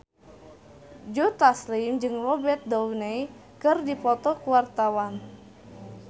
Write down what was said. Joe Taslim jeung Robert Downey keur dipoto ku wartawan